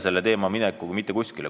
Meie seda ei jäta.